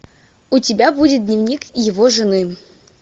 у тебя будет дневник его жены